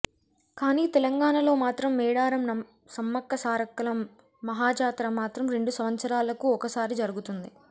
కానీ తెలంగాణలో మాత్రం మేడారం సమ్మక్క సారక్కల మహా జాతర మాత్రం రెండు సంవత్సరాలకు ఒకసారి జరుగుతుంది